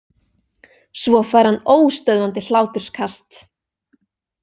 Svo fær hann óstöðvandi hláturskast.